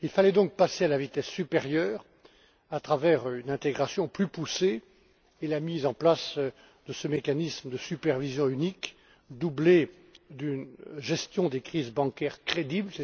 Il fallait donc passer à la vitesse supérieure à travers une intégration plus poussée et la mise en place de ce mécanisme de supervision unique accompagnée d'une gestion des crises bancaires crédible.